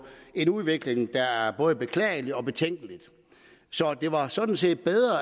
en udvikling der er både beklagelig og betænkelig det var sådan set bedre